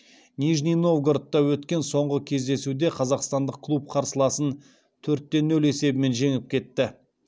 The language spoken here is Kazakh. нижний новгородта өткен соңғы кездесуде қазақстандық клуб қарсыласын төрт те нөл есебімен жеңіп кетті